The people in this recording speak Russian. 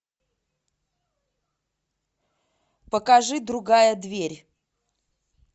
покажи другая дверь